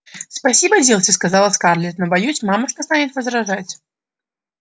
спасибо дилси сказала скарлетт но боюсь мамушка станет возражать